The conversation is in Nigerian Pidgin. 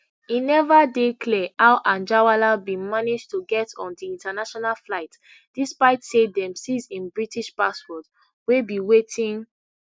e neva dey clear how anjarwalla bin manage to get on di international flight despite say dem seize im british passport wey be wetin